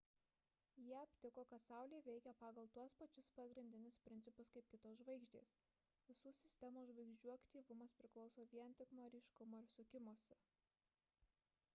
jie aptiko kad saulė veikia pagal tuos pačius pagrindinius principus kaip kitos žvaigždės visų sistemos žvaigždžių aktyvumas priklauso vien tik nuo ryškumo ir sukimosi